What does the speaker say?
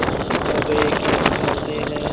कह गये के अब मरते हैं